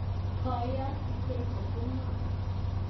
Boyot Biteko ko ngoo?